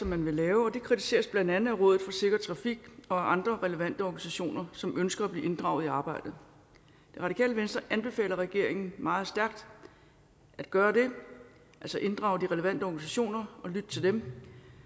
man vil lave og det kritiseres blandt andet af rådet for sikker trafik og andre relevante organisationer som ønsker at blive inddraget i arbejdet det radikale venstre anbefaler regeringen meget stærkt at gøre det altså inddrage de relevante organisationer og lytte til dem